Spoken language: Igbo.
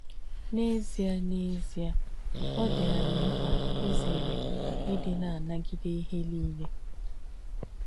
N’ézíē, N’ézíē, ọ̀ dí ànyì m̀kpà ìzère ìdí nà-ànagídē íhe nílè.